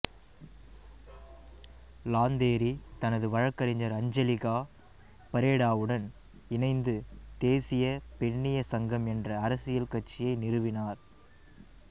Lanteri தனது வழக்கறிஞர் Angelica பரேடாவுடன் இணைந்து தேசிய பெண்ணிய சங்கம் என்ற அரசியல் கட்சியை நிறுவினார்